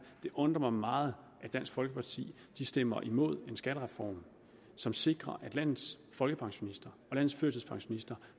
undrer mig meget at dansk folkeparti stemmer imod en skattereform som sikrer at landets folkepensionister og landets førtidspensionister